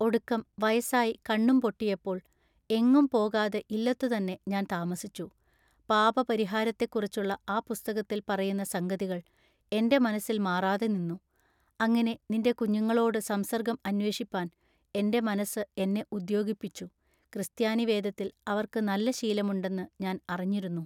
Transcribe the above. ഒടുക്കം വയസ്സായി കണ്ണും പൊട്ടിയപ്പോൾ എങ്ങും പോകാതെ ഇല്ലത്തു തന്നെ ഞാൻ താമസിച്ചു പാപപരിഹാരത്തെക്കുറിച്ചുള്ള ആ പുസ്തകത്തിൽ പറയുന്ന സംഗതികൾ എന്റെ മനസ്സിൽ മാറാതെനിന്നു അങ്ങിനെ നിന്റെ കുഞ്ഞുങ്ങളോടു സംസർഗ്ഗം അന്വേഷിപ്പാൻ എൻ്റെ മനസ്സ് എന്നെ ഉദ്യോഗിപ്പിച്ചു ക്രിസ്താനിവേദത്തിൽ അവർക്ക് നല്ലശീലമുണ്ടെന്നു ഞാൻ അറിഞ്ഞിരുന്നു.